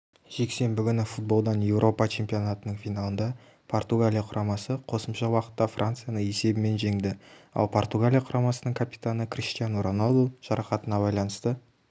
жексенбі күні футболдан еуропа чемпионатының финалында португалия құрамасы қосымша уақытта францияны есебімен жеңді ал португалия құрамасының капитаны криштиану роналду жарақатына байланысты